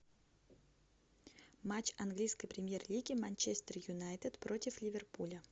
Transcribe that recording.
матч английской премьер лиги манчестер юнайтед против ливерпуля